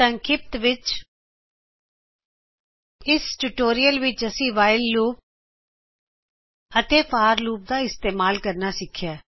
ਵਿਸਥਾਰ ਵਿੱਚ ਇਹ ਟਯੂਟੋਰਿਅਲ ਵਿਚ ਅਸੀਂ whileਲੂਪ ਅਤੇ ਫੋਰ ਲੂਪ ਦਾ ਇਸਤਿਮਾਲ ਕਰਨਾ ਸਿਖਿਆ